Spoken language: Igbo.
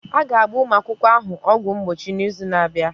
A ga-agba ụmụ akwụkwọ ahụ ọgwụ mgbochi n'izu na-abịa.